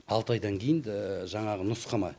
алты айдан кейін жаңағы нұсқама